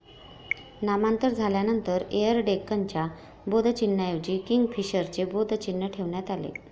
नामांतर झाल्यानंतर एयर डेक्कनच्या बोधचिन्हाऐवजी किंगफिशरचे बोध चिन्ह ठेवण्यात आले.